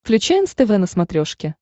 включай нств на смотрешке